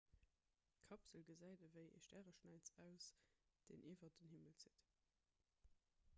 d'kapsel gesäit ewéi e stäreschnäiz aus deen iwwer den himmel zitt